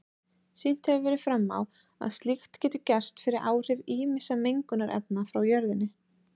Sýnt hefur verið fram á að slíkt getur gerst fyrir áhrif ýmissa mengunarefna frá jörðinni.